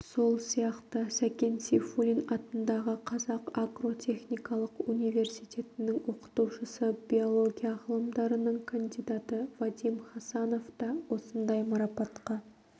сол сияқты сәкен сейфуллин атындағы қазақ агротехникалық университетінің оқытушысы биология ғылымдарының кандидаты вадим хасанов та осындай марапатқа